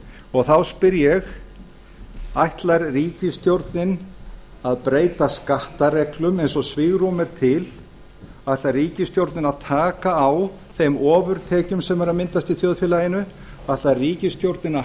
og þá spyr ég ætlar ríkisstjórnin að breyta skattareglum eins og svigrúm er til ætlar ríkisstjórnin að taka á þeim ofurtekjum sem eru að myndast í þjóðfélaginu ætlar ríkisstjórnin að